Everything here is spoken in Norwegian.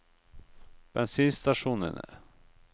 bensinstasjonene